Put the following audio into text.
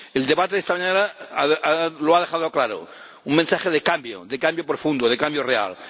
El debate de esta mañana lo ha dejado claro un mensaje de cambio, de cambio profundo, de cambio real.